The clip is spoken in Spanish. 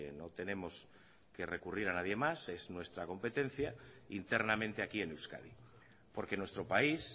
no tenemos que recurrir a nadie más es nuestra competencia internamente aquí en euskadi porque nuestro país